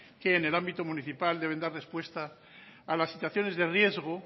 que en el ámbito municipal deben dar respuesta a las situaciones de riesgo